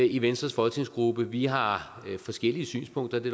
i venstres folketingsgruppe vi har forskellige synspunkter det